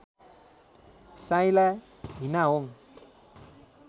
साइला हिनाहोङ